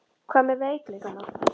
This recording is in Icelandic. Hvað með veikleikana?